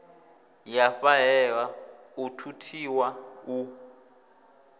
ya fhahehwa u thuthiwa u